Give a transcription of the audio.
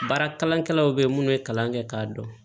Baara kalankɛlaw bɛ yen minnu ye kalan kɛ k'a dɔn